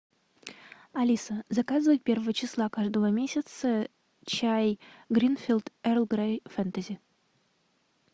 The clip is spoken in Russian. алиса заказывай первого числа каждого месяца чай гринфилд эрл грей фэнтези